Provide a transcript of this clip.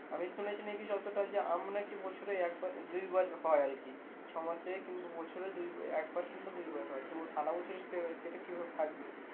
আমি শুনেছি নাকি যতটা যে আম নাকি বছরে একবার দুই বার হয় আর কি ছয়মাসে কিংবা বছরে দুই একবার কিংবা দুইবার হয় তো সারা বছরে সেটা কি ভাবে থাকবে